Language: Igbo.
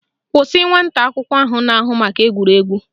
Kwụsị nwata akwụkwọ ahụ na-ahụ maka egwuregwu!